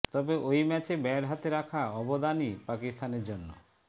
তবে ওই ম্যাচে ব্যাট হাতে রাখা অবদানই পাকিস্তানের জন্য